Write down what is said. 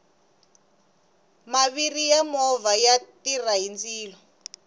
maviri ya movha ya tirha hi ndzilo